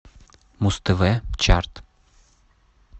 муз тв чарт